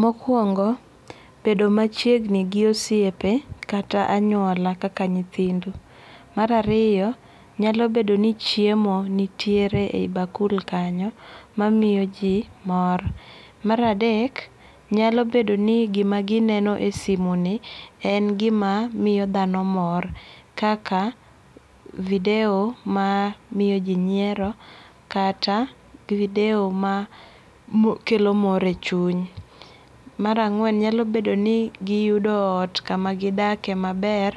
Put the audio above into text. Mokuongo' bedo machiegni gi osiepe kata anyuola kaka nyithindu, marariyo nyalobedo ni chiemo nitiere e hi bakul kanyo mamiyo ji mor, maradek nyalobedo ni gima gineno e simu ni en gima miyo thano mor kaka video mar miyoji nyiero kata video ma mokelo mor e chunye, marang'wen nyalo bedo ni giyudo ot kumagidakie maber